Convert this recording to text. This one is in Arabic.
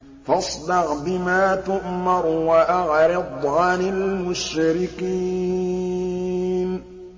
فَاصْدَعْ بِمَا تُؤْمَرُ وَأَعْرِضْ عَنِ الْمُشْرِكِينَ